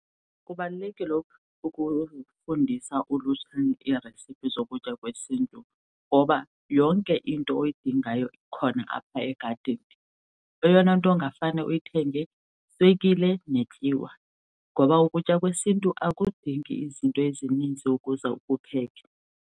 Kubalulekile ukufundisa ulutsha iiresiphi zokutya kwesiNtu ngoba yonke into oyidingayo ikhona apha egadini. Eyona nto ungafane uyithenge yiswekile netyiwa. Ngoba ukutya kwesiNtu akudingi izinto ezininzi ukuze ukupheke.